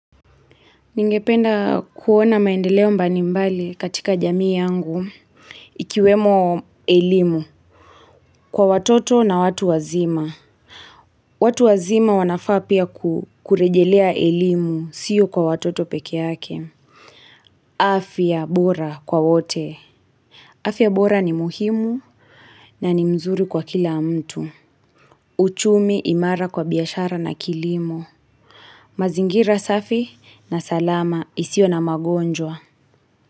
Ningependa kuona maendeleo mbali mbali katika jamii yangu. Ikiwemo elimu. Kwa watoto na watu wazima. Watu wazima wanafaa pia kurejelea elimu sio kwa watoto peke yake. Afya bora kwa wote. Afya bora ni muhimu na ni mzuri kwa kila mtu. Uchumi imara kwa biashara na kilimo. Mazingira safi na salama isiyo na magonjwa.